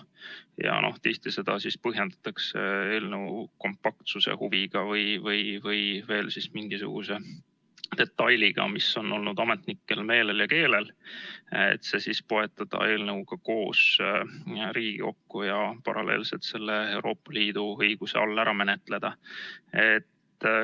Ja noh, tihti seda põhjendatakse eelnõu kompaktsuse huviga või veel mingisuguse detailiga, mis on olnud ametnikel meelel ja keelel, et see siis poetada eelnõuga koos Riigikokku ja paralleelselt see Euroopa Liidu õiguse all ära menetleda.